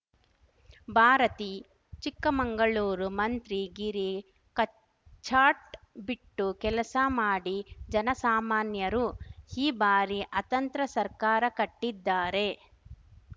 ಭಾರತಿ ಚಿಕ್ಕಮಂಗಳೂರು ಮಂತ್ರಿಗಿರಿ ಕಚ್ಚಾಟ್ ಬಿಟ್ಟು ಕೆಲಸ ಮಾಡಿ ಜನಸಾಮಾನ್ಯರು ಈ ಬಾರಿ ಅತಂತ್ರ ಸರ್ಕಾರ ಕಟ್ಟಿದ್ದಾರೆ